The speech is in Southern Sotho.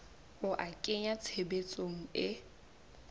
ho a kenya tshebetsong e